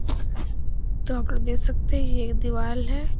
जहां पर देख सकते ये एक दिवाल है।